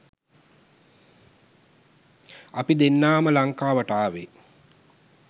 අපි දෙන්නාම ලංකාවට ආවේ.